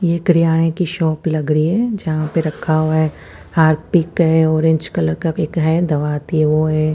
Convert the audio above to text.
ये करियाने की शॉप लग रही है जहा पे रखा हुआ है हार्पिक है ओरेंज कलर का है दवा आती है वो है।